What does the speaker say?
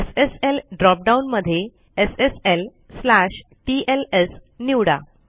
SSL drop down मध्ये sslटीएलएस निवडा